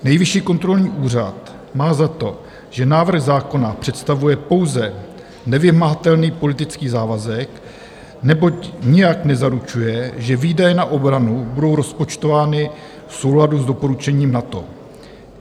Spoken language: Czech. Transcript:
Nejvyšší kontrolní úřad má za to, že návrh zákona představuje pouze nevymahatelný politický závazek, neboť nijak nezaručuje, že výdaje na obranu budou rozpočtovány v souladu s doporučením NATO.